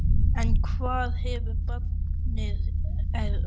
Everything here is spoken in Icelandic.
En hvað ef barnið er óhuggandi?